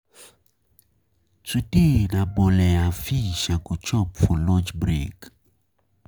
Today na bole and fish I go chop for lunch break.